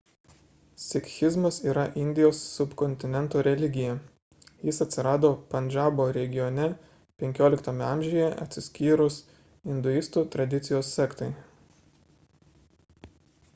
sikhizmas yra indijos subkontinento religija jis atsirado pandžabo regione 15 amžiuje atsiskyrus induistų tradicijos sektai